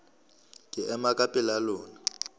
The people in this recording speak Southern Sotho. ke ema ka pela lona